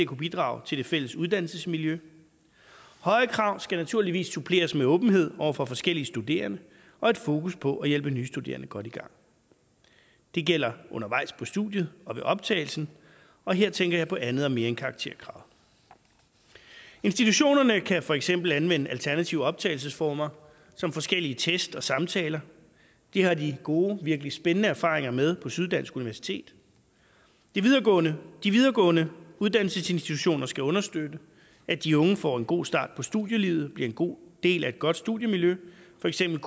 kunne bidrage til det fælles uddannelsesmiljø høje krav skal naturligvis suppleres med åbenhed over for forskellige studerende og et fokus på at hjælpe nye studerende godt i gang det gælder undervejs på studiet og ved optagelsen og her tænker jeg på andet og mere end karakterkravet institutionerne kan for eksempel anvende alternative optagelsesformer som forskellige tests og samtaler det har de gode og virkelig spændende erfaringer med på syddansk universitet de videregående de videregående uddannelsesinstitutioner skal understøtte at de unge får en god start på studielivet bliver en god del af et godt studiemiljø for eksempel